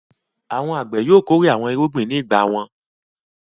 Àwọn àgbẹ̀ yóò kórè àwọn irúgbìn ní ìgbà wọn.